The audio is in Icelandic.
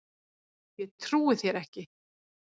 Ég trúi þér ekki